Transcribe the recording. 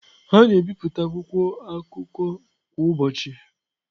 A na-ebipụta akwụkwọ akụkọ kwa ụbọchị.